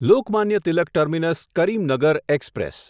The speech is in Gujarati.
Lokmanya Tilak terminus Karimnagar express